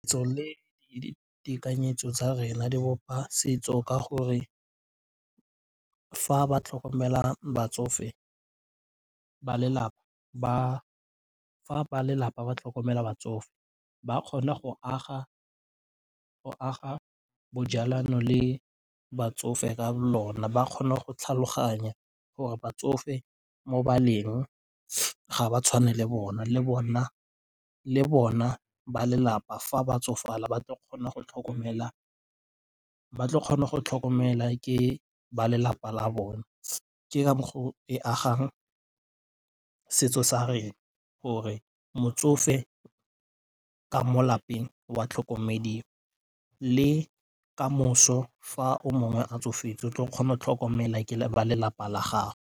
Setso le ditekanyetso tsa rena di bopa setso ka gore fa ba lelapa ba tlhokomela batsofe ba kgona go aga bojalano le batsofe ka lona ba kgona go tlhaloganya gore batsofe mo baleng ga ba tshwane le bona le bona ba lelapa fa ba tsofala ba tlo kgona go tlhokomela ke ba lelapa la bone. Ke ka foo e agang setso sa rena gore motsofe ka mo lapeng wa tlhokomediwa le kamoso fa yo mongwe a tsofetse o tlo kgona go tlhokomela ba lelapa la gago.